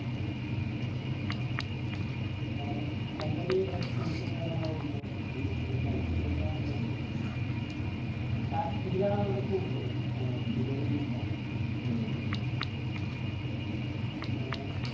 അവിടെ നിക്കണ്ട ഒരു expense സും കാര്യങ്ങളൊക്കെയുള്ളൂ ബുദ്ധിമുട്ട് പഠിച്ചുകഴിഞ്ഞാൽ നല്ലൊരു practical ആണ് അവിടെ കൂടുതൽ ഏർ theory ഒന്നുല്ല പിന്നെ